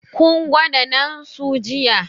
Kun gwada naan su jiya?